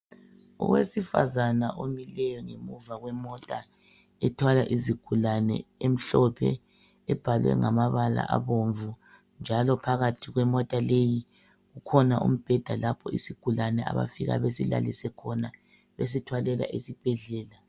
Owesfazana omileyo ngemuva kwemota ethwala izigulane emhlophe, ebhalwe ngamabala abomvu, njalo phakathi kwemota leyi, kukhona umbeda lapho isigulane abafika besilalise khona besithwalela esibhedlela.